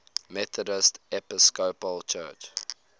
methodist episcopal church